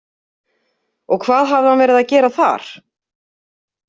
Og hvað hafði hann verið að gera þar?